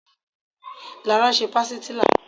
Lara ń ṣe pastilla